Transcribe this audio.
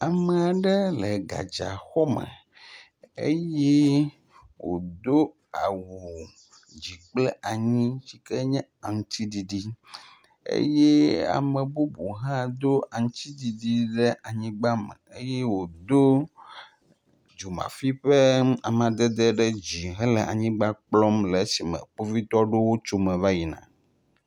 Ame aɖe le gadzaxɔme eye wodo awu dzi kple anyi si ke nye aŋutiɖiɖi eye ame bubuwo hã do aŋutidɖiɖi le anyigba me eye wodo dzomafi ƒe amadede ɖe dzi hele anyigba kplɔm le esime kpovitɔ aɖewo tso eme va yi na.